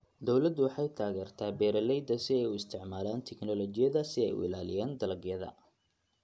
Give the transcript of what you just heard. Dawladdu waxay taageertaa beeralayda si ay u isticmaalaan tignoolajiyada si ay u ilaaliyaan dalagyada.